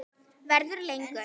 Verður lengur.